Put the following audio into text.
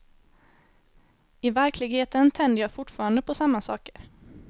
I verkligheten tänder jag fortfarande på samma saker.